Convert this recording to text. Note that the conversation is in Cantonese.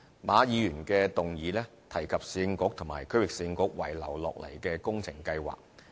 馬議員的議案提及市政局和區域市政局遺留下來的工程計劃。